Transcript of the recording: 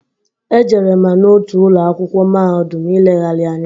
Ejere ma n'otu ụlọakwụkwọ mahadụm i legharị anya.